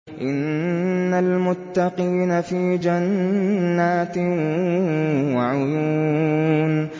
إِنَّ الْمُتَّقِينَ فِي جَنَّاتٍ وَعُيُونٍ